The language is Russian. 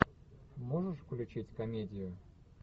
можешь включить комедию